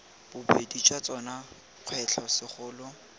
bobedi jwa tsona kgwetlho segolo